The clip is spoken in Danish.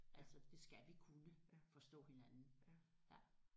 Altså det skal vi kunne forstå hinanden ja